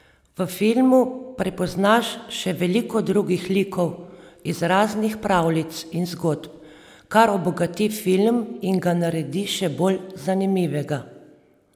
V filmu prepoznaš še veliko drugih likov iz raznih pravljic in zgodb, kar obogati film in ga naredi še bolj zanimivega.